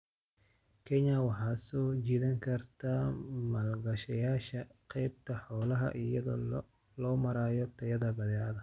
Kenya waxay soo jiidan kartaa maalgashadayaasha qaybta xoolaha iyada oo loo marayo tayada badeecadaha.